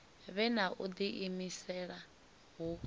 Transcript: vhe na u diimisela hu